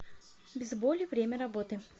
безболи время работы